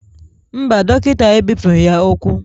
Mba, Dọkịta ebipụghị ya ụkwụ